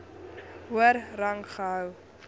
hoër rang gehou